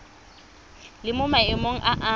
le mo maemong a a